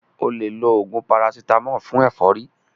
O lè lo oògùn parasítámọ̀ fún ẹ̀fọ́rí.